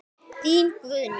Þín Guðný.